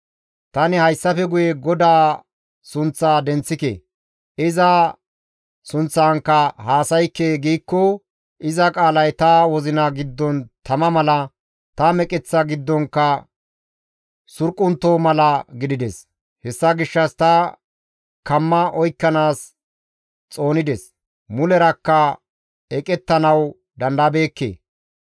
Tani, «Hayssafe guye GODAA sunththaa denththike; iza sunththankka haasaykke» giikko iza qaalay ta wozina giddon tama mala, ta meqeththa giddonkka surquntto mala gidides; hessa gishshas ta kamma oykkanaas xoonides; mulerakka eqettanawu dandayabeekke.